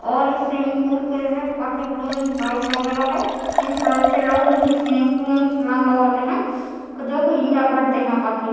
और ये swimming pool के नीचे काफी बड़ी बड़ी टाइल्स बगैरा है इन्हे टायर से लोग निचे स्विमिंग पूल में छलाग लगाते है जो की एन्जॉय करते है काफी --